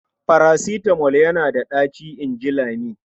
"Farasitamol yana da ɗaci", in ji Lami.